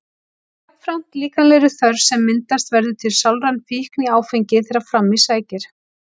Jafnframt líkamlegri þörf sem myndast verður til sálræn fíkn í áfengið þegar fram í sækir.